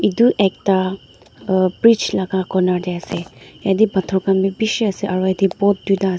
etu ekta brigh laga corner te ase yate pothor khan bhi bishih ase aru yate boat duta ase.